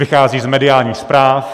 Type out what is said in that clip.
Vychází z mediálních zpráv.